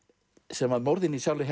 sem morðin í Charlie